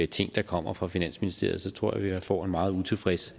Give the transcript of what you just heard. ting der kommer fra finansministeriet så tror jeg at jeg får en meget utilfreds